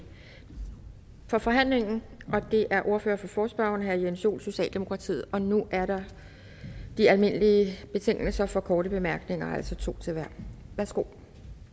forhandlingen og det er ordføreren for forespørgerne herre jens joel socialdemokratiet og nu er der de almindelige betingelser for korte bemærkninger altså to til hver værsgo